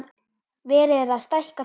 Verið er að stækka fjósið.